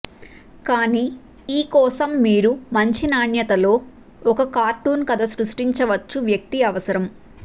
కానీ ఈ కోసం మీరు మంచి నాణ్యత లో ఒక కార్టూన్ కథ సృష్టించవచ్చు వ్యక్తి అవసరం